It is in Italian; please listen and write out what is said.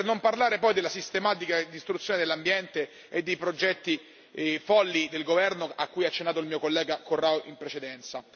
Per non parlare poi della sistematica distruzione dell'ambiente e dei progetti folli del governo a cui ha accennato l'onorevole Corrao in precedenza.